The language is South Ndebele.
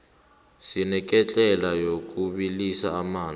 sineketlela yokubilisa amanzi